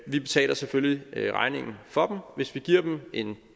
vi betaler selvfølgelig regningen for hvis vi giver dem en